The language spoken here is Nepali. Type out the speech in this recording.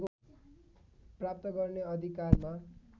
प्राप्त गर्ने अधिकारमा